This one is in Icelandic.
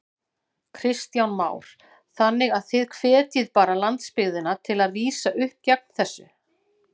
Kristján Már: Þannig að þið hvetjið bara landsbyggðina til að rísa upp gegn þessu?